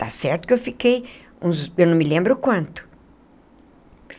Está certo que eu fiquei uns... eu não me lembro o quanto.